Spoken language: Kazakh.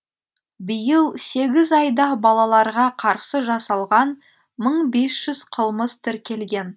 биыл сегіз айда балаларға қарсы жасалған мың бес жүз қылмыс тіркелген